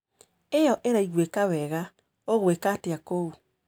ĩyo ĩraiguĩka wega. ũgwĩka atĩa kũu?